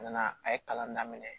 A nana a ye kalan daminɛ